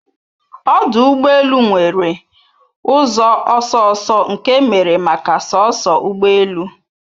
Ọdụ ụgbọ elu nwere ụzọ ọsọ ọsọ nke emere maka soso ụgbọ elu